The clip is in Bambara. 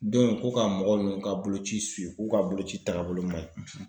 ko ka mɔgɔ nunnu ka boloci k'u ka boloci taagabolo maɲi.